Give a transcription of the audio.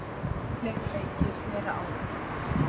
Fleiri leikir, meira álag.